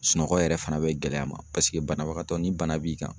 Sunɔgɔ yɛrɛ fana bɛ gɛlɛya ma, paseke banabagatɔ ni bana b'i kan.